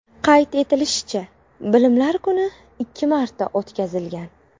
Qayd etilishicha, Bilimlar kuni ikki marta o‘tkazilgan.